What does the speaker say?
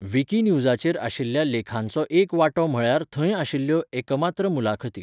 विकिन्युजाचेर आशिल्ल्या लेखांचो एक वांटो म्हळ्यार थंय आशिल्ल्यो एकमात्र मुलाखती.